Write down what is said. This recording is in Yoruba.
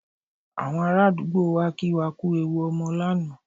Àwọn ará àdúgbò wá kí wa kú ewu ọmọ lánàá